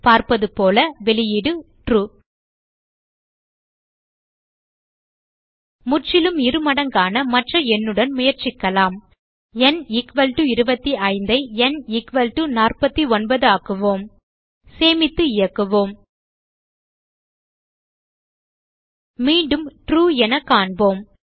பார்ப்பதுபோல வெளியீடு ட்ரூ முற்றிலும் இருமடங்கான மற்ற எண்ணுடன் முயற்சிக்கலாம் ந் 25 ஐ ந் 49 ஆக்குவோம் சேமித்து இயக்குவோம் மீண்டும் ட்ரூ என காண்போம்